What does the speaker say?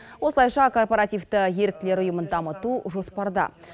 осылайша корпоративті еріктілер ұйымын дамыту жоспарда